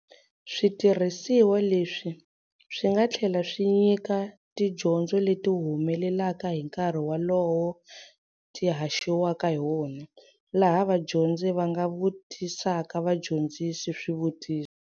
Switirhisiwa leswi swi nga tlhela swi nyika tidyondzo leti humelelaka hi nkarhi walowo ti haxiwaka hi wona, laha vadyondzi va nga vutisaka vadyondzisi swivutiso.